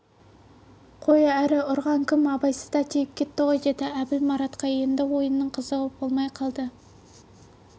қой әрі ұрған кім абайсызда тиіп кетті ғой деді әбіл маратқа енді ойынның қызығы болмай қалды